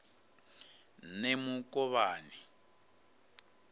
nemukovhani